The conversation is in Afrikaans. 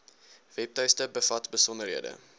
webtuiste bevat besonderhede